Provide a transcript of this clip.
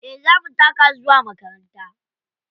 Eh za mu taka zuwa makaranta.